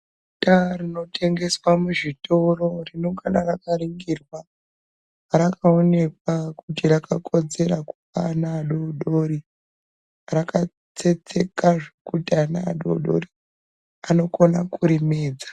Bota rinotengeswa muzvitoro, rinongana rakaringirwa, rakaonekwa kuti, rakakodzera kupa ana adoodori, rakatsetseka zvekuti ana adoodori anokona kurimedza.